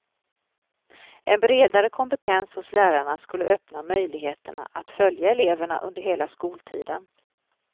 En bredare kompetens hos lärarna skulle öppna möjligheterna att följa eleverna under hela skoltiden.